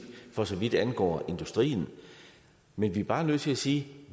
for så vidt angår industrien men vi er bare nødt til at sige